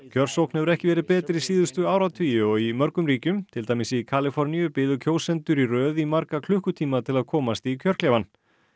kjörsókn hefur ekki verið betri síðustu áratugi og í mörgum ríkjum til dæmis í Kaliforníu biðu kjósendur í röð í marga klukkutíma til að komast í kjörklefann